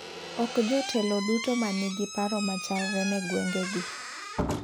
Ok jotelo duto man gi paro machalre ne gweng'e gi.